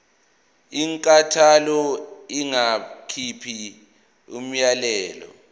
inkantolo ingakhipha umyalelo